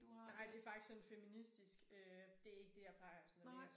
Nej det faktisk sådan en feministisk øh det er ikke det jeg plejer sådan at læse